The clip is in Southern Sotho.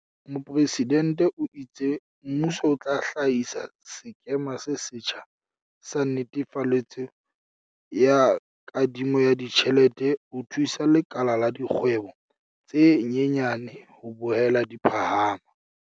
Mopresidente o itse mmuso o tla hlahisa sekema se setjha sa netefaletso ya kadimo ya ditjhelete ho thusa lekala la dikgwebo tse nyenyane ho boela di phahama.